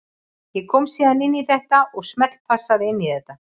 Ég kom síðan inn í þetta og smellpassa inn í þetta.